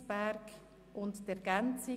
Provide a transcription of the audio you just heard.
– Dies ist der Fall.